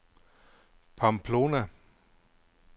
Pamplona